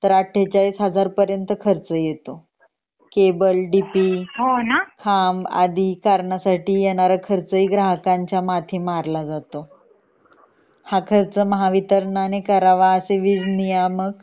48000 पर्यंत खर्च येतो केबल डीपी हा आदि कारणासाठी येणारा खर्च पण ग्राहकांच्या माथी मारला जातो . हा खर्च महावितराणाने करावं असे वीज नियामक